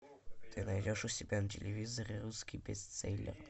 ты найдешь у себя на телевизоре русский бестселлер